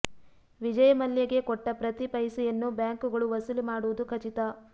ವಿಜಯ ಮಲ್ಯಗೆ ಕೊಟ್ಟ ಪ್ರತಿ ಪೈಸೆಯನ್ನೂ ಬ್ಯಾಂಕುಗಳು ವಸೂಲಿ ಮಾಡುವುದು ಖಚಿತ